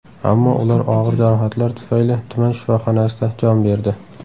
Ammo ular og‘ir jarohatlar tufayli tuman shifoxonasida jon berdi.